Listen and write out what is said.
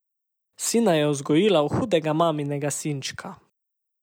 Sina je vzgojila v hudega maminega sinčka.